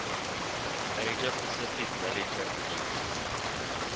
asia pacific rally championship